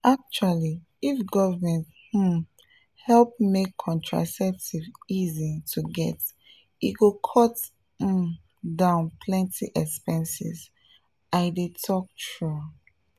actually if government um help make contraceptives easy to get e go cut um down plenty expenses — i dey talk true.